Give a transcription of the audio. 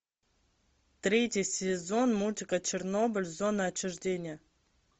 третий сезон мультика чернобыль зона отчуждения